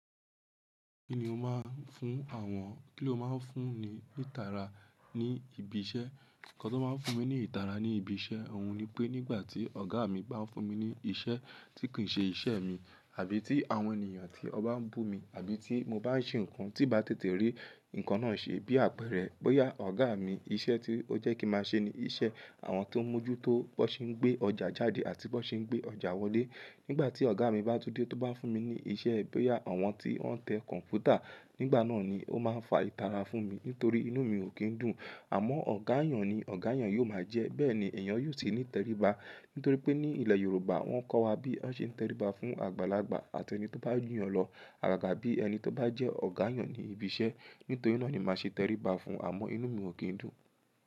Kí ni o máa ń fún àwọn, kí ló máa ń fún ni ìtara ní ibi iṣẹ́? Ǹkan tó máa ń fún mi ní ìtara ní ibi iṣẹ́, òun ni pé nígbà tí ọ̀gá mi bá ń fún mi ní iṣẹ́ tí kì í ṣe iṣẹ́ mi, àbí tí àwọn ènìyàn tí ó ba ń bú mi, àbí tí mo bá ń ṣe nǹkan tí bá tètè rí nǹkan náà ṣe bí àpẹẹrẹ, bóyá ọ̀gá mi iṣẹ́ tí ó jẹ́ kí máa ṣe ni iṣẹ́ àwọn tó ń mójú tó bọ́ ṣe ń gbé ọjà jáde àti bó ṣe ń gbé ọjà wọlé. Nígbà tí ọ̀gá mi bá tú dẹ́ tó bá fún mi ní iṣẹ́, bóyá àwọn tí wọ́n ń tẹ kọ̀ǹpútà, nígbà náà ni ó máa ń fa ìtara fún mi nítorí inú mi ò kín dùn. Àmọ́ ọ̀gá yàn ni, ọ̀gá yàn yóò máa jẹ́, bẹ́ẹ̀ ni èèyàn yóò sì ní tẹríba. Nítorí pé ní ilẹ̀ Yorùbá wọ́n kọ́ wa bí a ṣe ń tẹríba fún àgbàlagbà àti ẹni tó bá jù yàn lọ, àgàgà bí ẹni tó bá jẹ́ ọ̀gá yàn ni ibi iṣẹ́. Nítorí náà ni màá ṣe tẹríba fún, àmọ́ inú mi ò kín dùn.